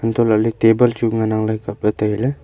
antoh lah ley table chu ngan ang ley kapley tai ley.